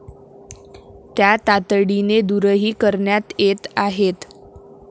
त्या तातडीने दूरही करण्यात येत आहेत.